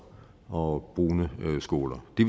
og brune skoler vi